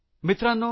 मित्रांनो